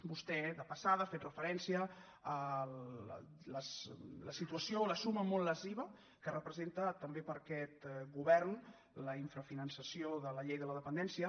vostè de passada ha fet referència a la situació la suma molt lesiva que representa també per a aquest govern l’infrafinançament de la llei de la dependència